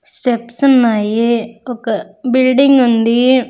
Steps ఉన్నాయి ఒక building ఉంది.